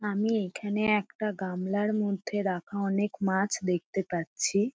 আমি এখানে একটা গামলার মধ্যে রাখা অনেক মাছ দেখতে পাচ্ছি।